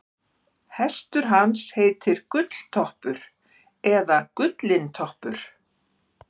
hestur hans heitir gulltoppur eða gullintoppur